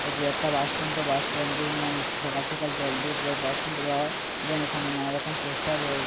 এটি একটা bus stand. তো বাস স্ট্যান্ড টির না যে সকাল সকাল জল দিয়ে পুরা বাস স্ট্যান্ড -টি ধোয়া হয় এবং এখানে নানা রকম পোস্টার রয়েস --